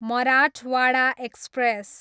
Marathwada express